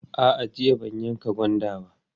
A'a, jiya ban yanka gwanda ba.